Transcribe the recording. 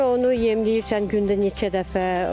Sonra onu yemləyirsən gündə neçə dəfə.